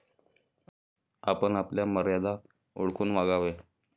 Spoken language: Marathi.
आपण आपल्या मर्यादा ओळखून वागावे.